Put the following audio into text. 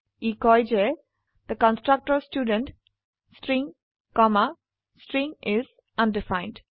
ই কয় যে the constructor student string comma string is undefined